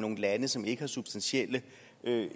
nogle lande som ikke har substantielle